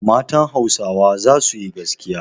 Matan Hausawa za su yi gaskiya.